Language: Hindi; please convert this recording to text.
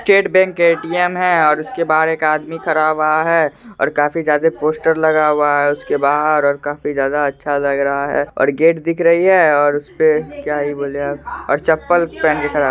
State bank ATM. है और उसके बाहर एक आदमी खड़ा हुआ है और काफी ज्यादा पोस्टर लगा हुआ हैं उसके बाहर और काफी ज्यादा अच्छा लग रहा है और गेट दिख रही है और उस पे क्या ही बोले अब और चप्पल पहन के खड़ा है।